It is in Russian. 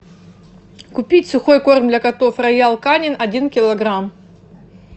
купить сухой корм для котов роял канин один килограмм